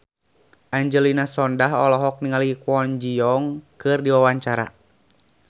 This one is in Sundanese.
Angelina Sondakh olohok ningali Kwon Ji Yong keur diwawancara